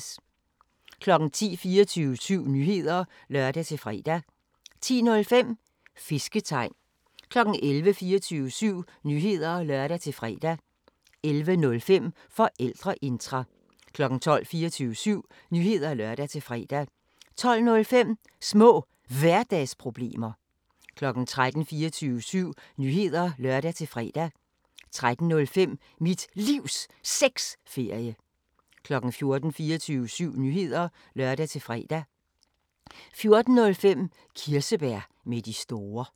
10:00: 24syv Nyheder (lør-fre) 10:05: Fisketegn 11:00: 24syv Nyheder (lør-fre) 11:05: Forældreintra 12:00: 24syv Nyheder (lør-fre) 12:05: Små Hverdagsproblemer 13:00: 24syv Nyheder (lør-fre) 13:05: Mit Livs Sexferie 14:00: 24syv Nyheder (lør-fre) 14:05: Kirsebær med de store